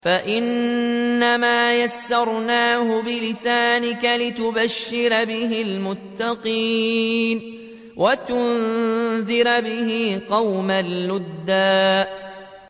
فَإِنَّمَا يَسَّرْنَاهُ بِلِسَانِكَ لِتُبَشِّرَ بِهِ الْمُتَّقِينَ وَتُنذِرَ بِهِ قَوْمًا لُّدًّا